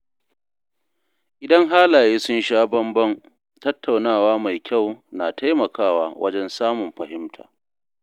Idan halaye sun sha bamban, tattaunawa mai kyau na taimakawa wajen samun fahimta.